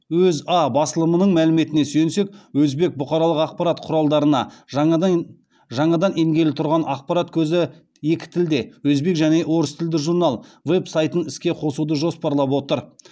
өза басылымның мәліметіне сүйенсек өзбек бұқаралық ақпарат құралдарына жаңадан енгелі тұрған ақпарат көзі екі тілде өзбек және орыс тілді журнал веб сайтын іске қосуды жоспарлап отыр